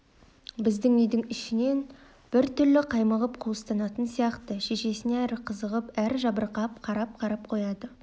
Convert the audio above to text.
біздің үйдің ішінен бір түрлі қаймығып қуыстанатын сияқты шешесіне әрі қызығып әрі жабырқап қарап-қарап қояды шай